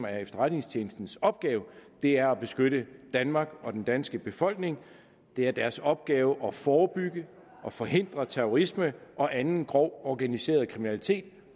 er efterretningstjenestens opgave er at beskytte danmark og den danske befolkning det er deres opgave at forebygge og forhindre terrorisme og anden grov organiseret kriminalitet